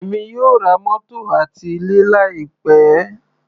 Èmi yóò ra mótò àti ilé láì pẹ́.